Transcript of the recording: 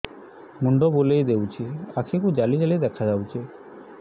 ମୁଣ୍ଡ ବୁଲେଇ ଦେଉଛି ଆଖି କୁ ଜାଲି ଜାଲି ଦେଖା ଯାଉଛି